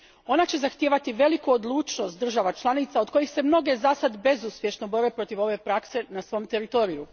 Ona će zahtijevati veliku odlučnost država članica od kojih se mnoge zasad bezuspješno bore protiv ove prakse na svom teritoriju.